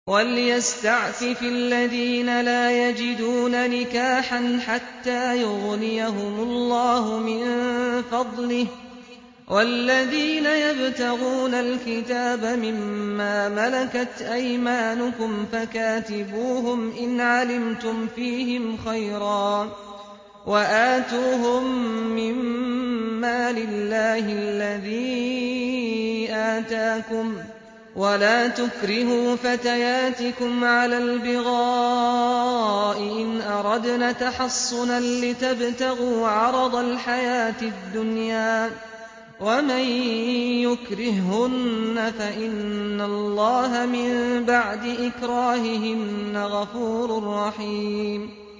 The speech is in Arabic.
وَلْيَسْتَعْفِفِ الَّذِينَ لَا يَجِدُونَ نِكَاحًا حَتَّىٰ يُغْنِيَهُمُ اللَّهُ مِن فَضْلِهِ ۗ وَالَّذِينَ يَبْتَغُونَ الْكِتَابَ مِمَّا مَلَكَتْ أَيْمَانُكُمْ فَكَاتِبُوهُمْ إِنْ عَلِمْتُمْ فِيهِمْ خَيْرًا ۖ وَآتُوهُم مِّن مَّالِ اللَّهِ الَّذِي آتَاكُمْ ۚ وَلَا تُكْرِهُوا فَتَيَاتِكُمْ عَلَى الْبِغَاءِ إِنْ أَرَدْنَ تَحَصُّنًا لِّتَبْتَغُوا عَرَضَ الْحَيَاةِ الدُّنْيَا ۚ وَمَن يُكْرِههُّنَّ فَإِنَّ اللَّهَ مِن بَعْدِ إِكْرَاهِهِنَّ غَفُورٌ رَّحِيمٌ